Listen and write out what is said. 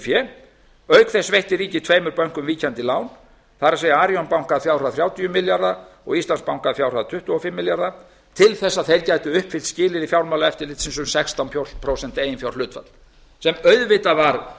fé auk þess veitti ríkið tveimur bönkum ríkjandi lán það er arionbanka þrjátíu og tveir milljarðar og íslandsbanka að fjárhæð tuttugu og fimm milljarðar til að þeir gætu uppfyllt skilyrði fjármálaeftirlitsins um sextán prósent eiginfjárhlutfall sem auðvitað var